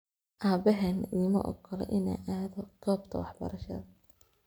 Abahena iimaogola ina aado gobta waxbarashada.